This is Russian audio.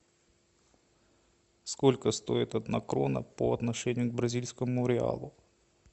сколько стоит одна крона по отношению к бразильскому реалу